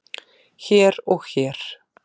hér og hér